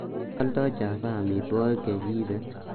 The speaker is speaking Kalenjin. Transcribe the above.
tos oldo java omitwogik chegiibe ii